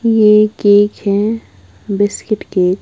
ये केक है biscuit cake.